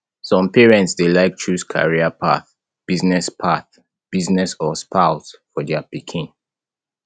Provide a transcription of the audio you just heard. some parents de like choose career path business path business or spouse for their pikin